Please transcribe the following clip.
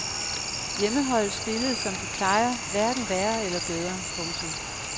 Hjemmeholdet spillede som de plejer hverken værre eller bedre. punktum